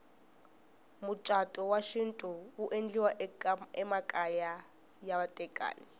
mucatu wa xintu wu endleriwa emakaya ya vatekani